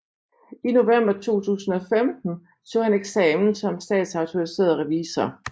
I november 2015 tog han eksamen som statsautoriseret revisor